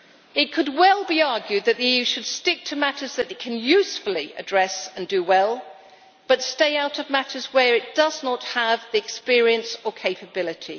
It could well be argued that the EU should stick to matters that it can usefully address and do well, but stay out of matters where it does not have the experience or capability.